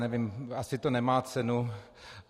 Nevím, asi to nemá cenu.